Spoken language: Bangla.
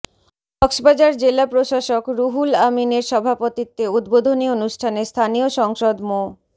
কক্সবাজার জেলা প্রশাসক রুহুল আমিনের সভাপতিত্বে উদ্বোধনী অনুষ্ঠানে স্থানীয় সাংসদ মো